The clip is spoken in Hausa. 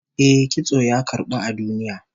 Eh, kitso ya karbu a duniya